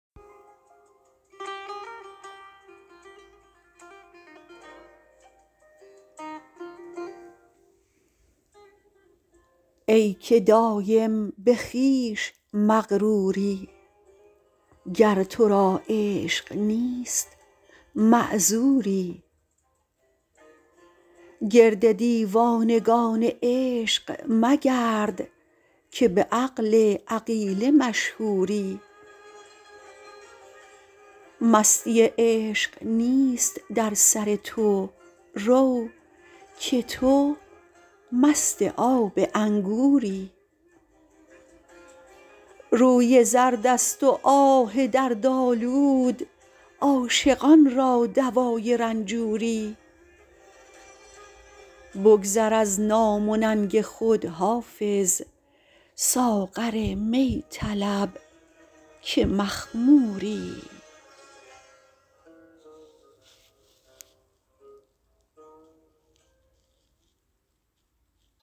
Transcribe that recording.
ای که دایم به خویش مغروری گر تو را عشق نیست معذوری گرد دیوانگان عشق مگرد که به عقل عقیله مشهوری مستی عشق نیست در سر تو رو که تو مست آب انگوری روی زرد است و آه دردآلود عاشقان را دوای رنجوری بگذر از نام و ننگ خود حافظ ساغر می طلب که مخموری